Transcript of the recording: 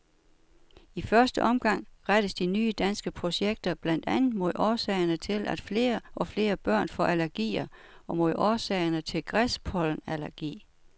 I første omgang rettes de nye danske projekter blandt andet mod årsagerne til, at flere og flere børn får allergier og mod årsagerne til græspollenallergi.